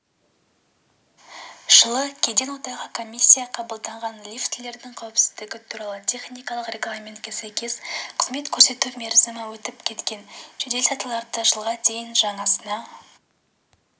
жылы кеден одағы комиссия қабылданған лифтілердің қауіпсіздігі туралы техникалық регламентке сәйкес қызмет көрсету мерзімі өтіп кеткен жедел сатыларды жылға дейін жаңасына